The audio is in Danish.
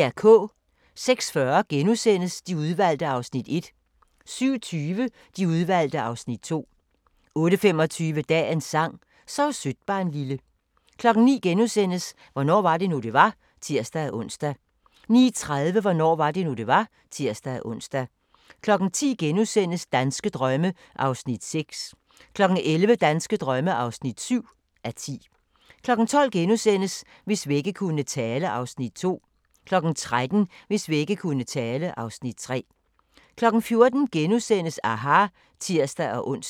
06:40: De Udvalgte (Afs. 1)* 07:20: De Udvalgte (Afs. 2) 08:25: Dagens sang: Sov sødt barnlille 09:00: Hvornår var det nu det var *(tir-ons) 09:30: Hvornår var det nu det var (tir-ons) 10:00: Danske drømme (6:10)* 11:00: Danske drømme (7:10) 12:00: Hvis vægge kunne tale (Afs. 2)* 13:00: Hvis vægge kunne tale (Afs. 3) 14:00: aHA! *(tir-ons)